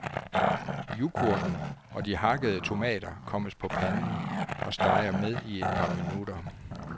Yoghurten og de hakkede tomater kommes på panden og steger med i et par minutter.